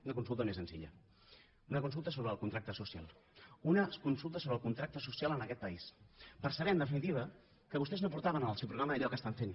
una consulta més senzilla una consulta sobre el contracte social una consulta sobre el contracte social en aquest país per saber en definitiva que vostès no portaven en el seu programa allò que estan fent